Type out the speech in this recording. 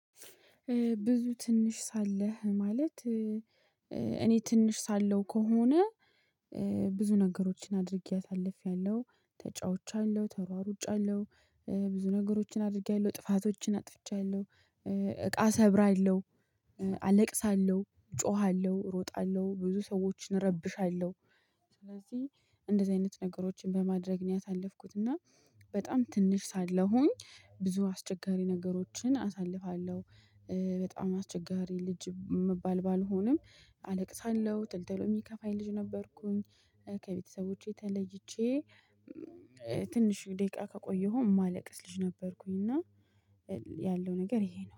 ብዙ ትንሽ ሳለህ ማለት እኔ ትንሽ ሳለው ከሆነ ብዙ ነገሮችን አድርጌ አሳልፌያለሁ፣ ተጫውቻለሁ ተሯሩጫለሁ። ብዙ ነገሮችን አድርጊያለሁ፣ ጥፋቶችን አጥፍቻለሁ። እቃ ሰብራለሁ፣ አለቅሳለሁ፣ ጮሃለሁ፣ ሮጣለሁ ብዙ ሰዎችን ረብሻለሁ። ስለዚህ እንደዚህ አይነት ነገሮችን በማድረግ ያሳለፍኩት እና በጣም ትንሽ ሳለሁኝ ብዙ አስቸጋሪ ነገሮችን አሳልፋለሁ። በጣም አስቸጋሪ ልጅ ምባል ባልሆንም አለቅሳለሁ፣ ቶሎ ቶሎ ሚከፋኝ ልጅ ነበርኩኝ። ከቤተሰቦቼ ተለይቼ ትንሽ ደቂቃ ከቆየሁ ማለቅስ ልጅ ነበርኩኝ። እና ያለው ነገር ይሄ ነው።